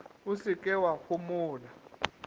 o se ke wa homola